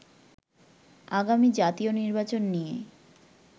আগামী জাতীয় নির্বাচন নিয়ে